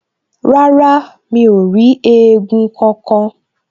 Rárá, mi ò rí éégún kankan